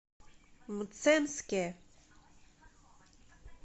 мценске